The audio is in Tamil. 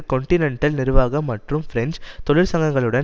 கொன்டினென்டல் நிர்வாகம் மற்றும் பிரெஞ்சு தொழிற்சங்கங்களுடன்